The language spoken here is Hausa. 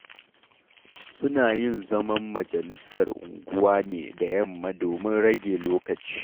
Suna yin zaman majalisar unguwa ne da yamma domin rage lokaci.